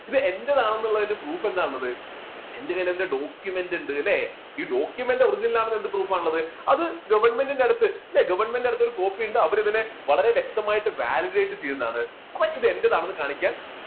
ഇത് എന്റേതാണെന്നുള്ളതിന് proof എന്താ ഉള്ളത് എൻറെ കയ്യിൽ അതിൻറെ documents ഉണ്ട്, അല്ലേ? ഈ documents original ആണെന്നുള്ളതിന് എന്ത് proof ആണ് ഉള്ളത്, അത് government ന്റെ അടുത്ത് government ന്റെ അടുത്ത ഒരു copy ഉണ്ട് അവരതിനെ വളരെ വ്യക്തമായിട്ട് validate ചെയ്തതാണ്. അപ്പൊ ഇത് എന്റേതാണെന്ന് കാണിക്കാൻ